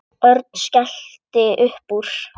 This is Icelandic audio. Örn skellti upp úr.